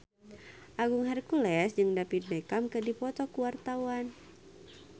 Agung Hercules jeung David Beckham keur dipoto ku wartawan